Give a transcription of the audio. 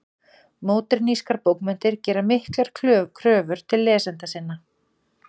Módernískar bókmenntir gera miklar kröfur til lesenda sinna.